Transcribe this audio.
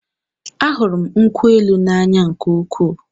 A hụrụ m nkwụ élù na-anya nke úkwuu